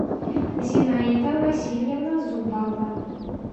зинаида васильевна зубова